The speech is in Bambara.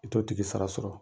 I t'o tigi sara sɔrɔ